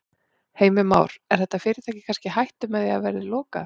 Heimir Már: Er þetta fyrirtæki kannski í hættu með það að því verði lokað?